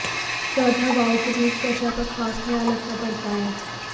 सर्द हवाओं के बीच त्वचा का खास ख्याल रखना पड़ता है